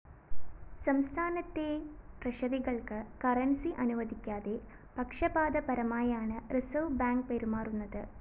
സംസ്ഥാനത്തെ ട്രഷറികള്‍ക്ക് കറന്‍സി അനുവദിക്കാതെ പക്ഷപാതപരമായാണ് റിസർവ്‌ ബാങ്ക്‌ പെരുമാറുന്നത്